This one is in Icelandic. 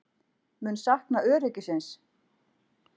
Mun sakna öryggisins.